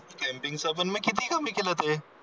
camping च पण मी किती कमी केलं ते